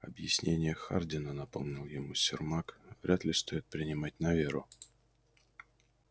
объяснения хардина напомнил ему сермак вряд ли стоит принимать на веру